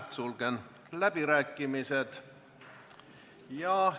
Sulgen läbirääkimised.